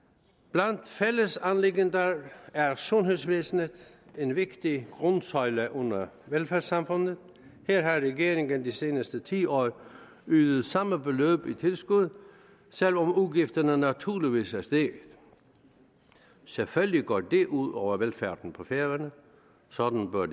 blandt fællesanliggenderne er sundhedsvæsenet en vigtig grundsøjle under velfærdssamfundet her har regeringen de seneste ti år ydet samme beløb i tilskud selv om udgifterne naturligvis er steget selvfølgelig går det ud over velfærden på færøerne sådan bør